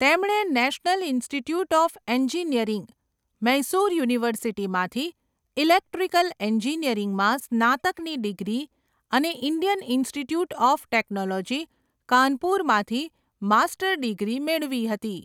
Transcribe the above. તેમણે national institute of engineering, Mysore યુનિવર્સિટીમાંથી electrical એન્જિનિયરિંગમાં સ્નાતકની ડિગ્રી અને ઇન્ડિયન ઇન્સ્ટિટ્યૂટ ઑફ ટેક્નોલોજી, કાનપુરમાંથી માસ્ટર ડિગ્રી મેળવી હતી.